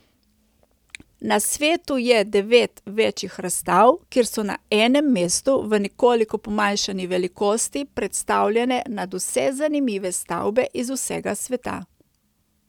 Na svetu je devet večjih razstav, kjer so na enem mestu v nekoliko pomanjšani velikosti predstavljene nadvse zanimive stavbe iz vsega sveta.